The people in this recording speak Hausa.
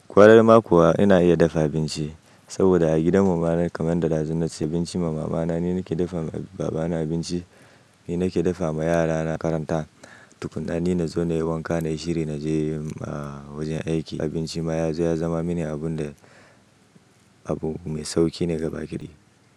Kwarar ma kuwa ina iya dafa abinci, saboda a gidan mu ma na kaman da da zu naci abinci ma mama na, ni nake dafa ma baba na abinci, ni nake dafa ma yara na karanta, tukuna ni na zo na yi wanka na yi shiri na je a wajen aiki. Abinci ma ya zo ya zama mini abun da abu mai sauki ne gaba ɗaya.